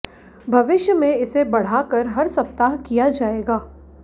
भविष्य में इसे बढ़ाकर हर सप्ताह किया जाएगा